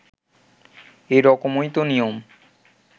এরকমই তো নিয়ম